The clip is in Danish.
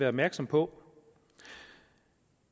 opmærksom på